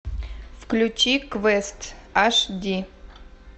включи квест аш ди